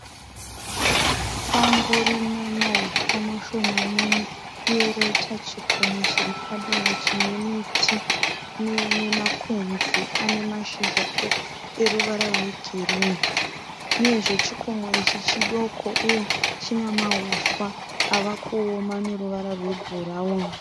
Sango rine mauswa mashomanene uye roita chikomo chiri padivi chine miti nemakwenzi ane mashizha eruvara rwegirinhi uyezve chikomo ichi chidoko uye chine masora avakuoma ane ruvara rwebhurawuni.